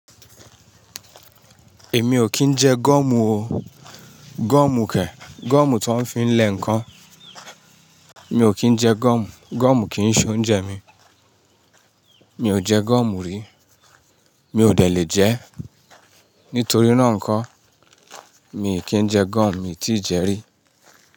Èmi ò kí ń jẹ gọọmù o. Gọọ̀mù kẹ̀, gọọ̀mù ti won fi ń lẹ̀ ǹkan. Mi ò kí ń jẹ gọọ̀mù, gọọ̀mù kì í ṣé oúnjẹ mi. Mi ò jẹ gọọ̀mù rí, mi ò dẹ lè jẹ́. Nítorí náà ǹkọ́, mi kì í jẹ gọọ̀mù, mi ti jẹ́ rí.